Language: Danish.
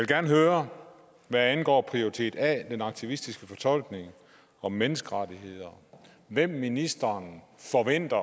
gerne høre hvad angår prioritet a den aktivistiske fortolkning af menneskerettigheder hvem ministeren forventer